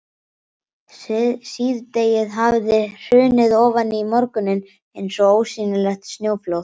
Síðdegið hafði hrunið ofan í morguninn eins og ósýnilegt snjóflóð.